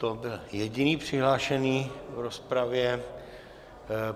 To byl jediný přihlášený v rozpravě.